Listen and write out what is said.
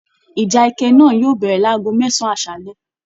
Ìjà ẹkẹ náà yóò bẹ̀rẹ̀ láàgò mẹsan aṣálẹ.